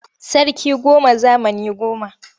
Sarki goma zamani goma.